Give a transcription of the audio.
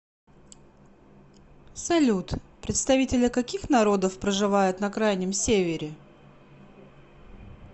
салют представители каких народов проживают на крайнем севере